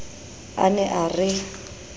a ne a re re